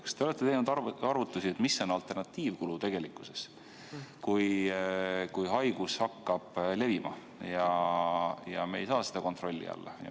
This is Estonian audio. Kas te olete teinud arvutusi, mis on alternatiivkulu tegelikkuses, kui haigus hakkab levima ja me ei saa seda kontrolli alla?